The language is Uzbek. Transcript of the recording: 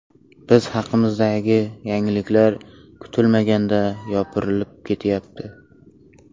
Biz haqimizdagi yangiliklar kutilmaganda yopirilib ketyapti.